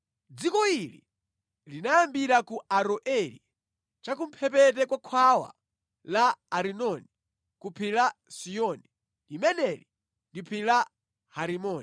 Dziko ili linayambira ku Aroeri cha kumphepete kwa khwawa la Arinoni ku phiri la Siyoni (limeneli ndi phiri la Herimoni),